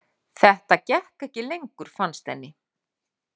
Þetta gekk ekki lengur fannst henni.